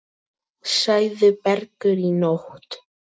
Sagði Bergur í nótt.